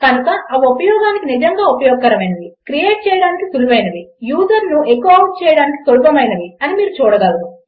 కనుక అవి ఉపయోగించడానికి నిజంగా ఉపయోగకరమైనవి క్రియేట్ చేయడానికి సుళువైనవి యూజర్ను ఎఖో ఔట్ చేయడానికి సులభమైనవి అని మీరు చూడగలరు